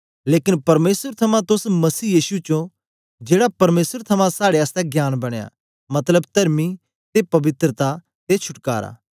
लेकन परमेसर थमां तोस मसीह यीशु च ओं जेड़ा परमेसर थमां साड़े आसतै ज्ञान बनयां मतलब तरमी ते पवित्रता ते छुटकारा